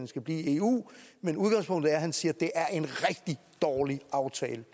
skal blive i eu men udgangspunktet er at han siger at det er en rigtig dårlig aftale